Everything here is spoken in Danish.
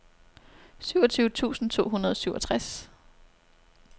syvogtyve tusind to hundrede og syvogtres